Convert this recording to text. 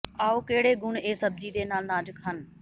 ਆਓ ਕਿਹੜੇ ਗੁਣ ਇਹ ਸਬਜ਼ੀ ਦੇ ਨਾਲ ਨਾਜ਼ਕ ਹਨ